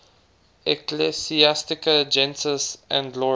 ecclesiastica gentis anglorum